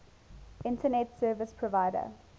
internet service provider